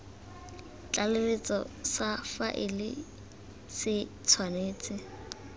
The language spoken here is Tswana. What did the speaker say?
tlaleletso sa faele se tshwanetse